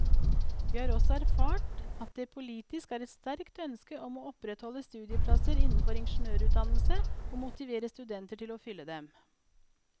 Vi har også erfart at det politisk er et sterkt ønske om å opprettholde studieplasser innenfor ingeniørutdannelse og motivere studenter til å fylle dem.